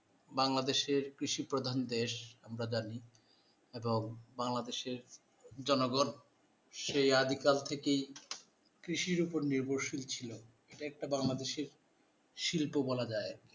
বাংলাদেশের কৃষি প্রধান দেশ আমরা জানি এবং বাংলাদেশের জনগন সেই আদিকাল থেকে কৃষির উপর নির্ভরশীল ছিল একটা বাংলাদেশীর শিল্প বলা যায়